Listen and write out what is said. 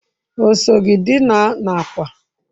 O so gi dina n'akwa?